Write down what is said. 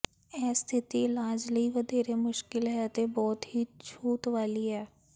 ਇਹ ਸਥਿਤੀ ਇਲਾਜ ਲਈ ਵਧੇਰੇ ਮੁਸ਼ਕਲ ਹੈ ਅਤੇ ਬਹੁਤ ਹੀ ਛੂਤ ਵਾਲੀ ਹੈ